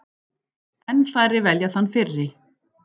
Enn færri velja þann fyrri.